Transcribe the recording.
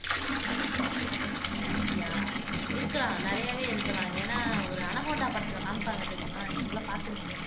அப்படியா இருக்கலாம் நிறையவே இருக்கலாம் ஏன்னா ஒரு அனகோண்டா படத்துல காமிப்பாங்க தெரியுமா நீங்கெல்லாம் பார்த்திருப்பீங்களே